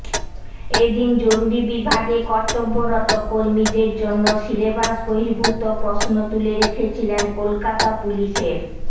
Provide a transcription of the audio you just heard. এ দিন জরুরি বিভাগে কর্তব্যরত কর্মীদের জন্য সিলেবাস বহির্ভূত প্রশ্ন তুলে রেখেছিলেন কলকাতা পুলিশের